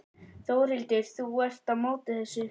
Þórhildur: Þú ert á móti þessu?